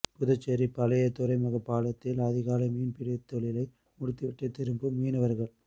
புதுச்சேரி பழைய துறைமுகப் பாலத்தில் அதிகாலை மீன்பிடித் தொழிலை முடித்துவிட்டு திரும்பும் மீனவர்கள்